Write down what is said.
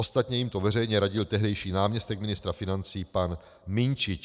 Ostatně jim to veřejně radil tehdejší náměstek ministra financí pan Minčič.